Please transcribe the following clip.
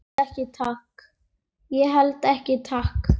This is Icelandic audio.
Ég held ekki, takk.